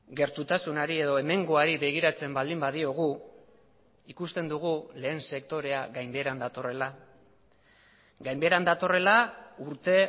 gertutasunari edo hemengoari begiratzen baldin badiogu ikusten dugu lehen sektorea gainbeheran datorrela gainbeheran datorrela urte